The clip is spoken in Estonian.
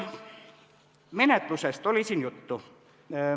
Menetlusest oli siin juttu.